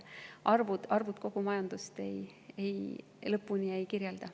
Arvud kogu majandust lõpuni ei kirjelda.